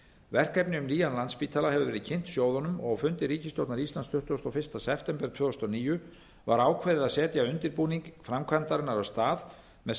verkefni um nýjan landspítala hefur verið kynnt sjóðunum og á fundi ríkisstjórnar íslands tuttugasta og fimmta september tvö þúsund og níu var ákveðið að setja undirbúning framkvæmdarinnar af stað með